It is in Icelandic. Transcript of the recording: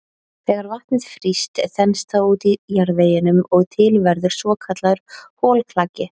Þegar vatnið frýst þenst það út í jarðveginum og til verður svokallaður holklaki.